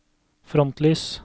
frontlys